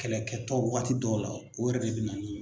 Kɛlɛkɛtɔ wagati dɔw la o yɛrɛ de bɛ na ni